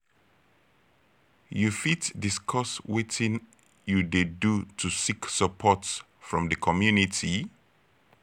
you fit discuss wetin you dey do to seek support from di community?